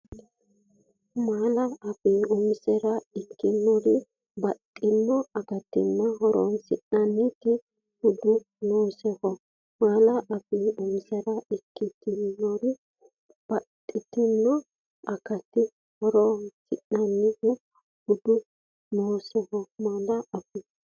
Malaa- afii umisire ikkitinori baxxitino akattanna horoonsi’rate budi noosioho Malaa- afii umisire ikkitinori baxxitino akattanna horoonsi’rate budi noosioho Malaa- afii.